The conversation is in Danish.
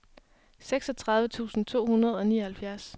seksogtredive tusind to hundrede og nioghalvfjerds